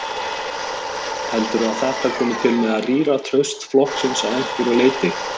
Heldurðu að þetta komi til með að rýra traust flokksins að einhverju leyti?